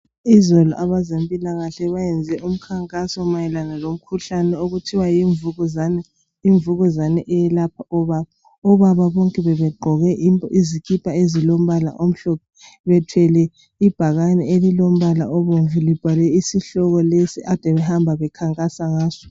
Izolo abezempilakahle bayenze umkhankaso mayelana lomkhuhlane okuthiwa yimvukuzane, imvukuzane iyelapha obaba. Obaba bonke bebegqoke izikipa ezilombala omhlophe bethwele ibhakane elilombala obomvu libhalwe isihloko lesi abade bekhankasa ngaso.